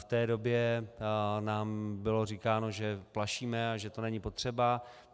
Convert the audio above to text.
V té době nám bylo říkáno, že plašíme a že to není potřeba.